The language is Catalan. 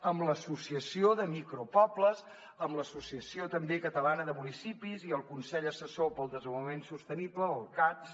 amb l’associació de micropobles amb l’associació també catalana de municipis i el consell assessor per al desenvolupament sostenible el cads